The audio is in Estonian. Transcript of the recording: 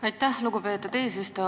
Aitäh, lugupeetud eesistuja!